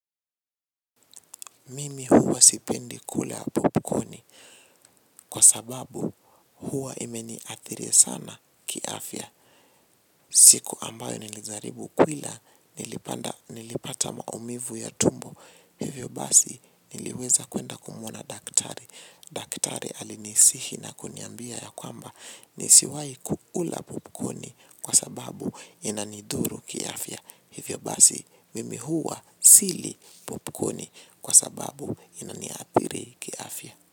Mimi huwa sipendi kula popcorni kwa sababu huwa imeni athiri sana kiafya. Siku ambayo nilijaribu kuila nilipata maumivu ya tumbo hivyo basi niliweza kuenda kumwona daktari. Daktari alinisihi na kuniambia ya kwamba nisiwai kukula popcorni kwa sababu inanidhuru kiafya. Hivyo basi mimi huwa sili popcorni kwa sababu inaniathiri kiafya.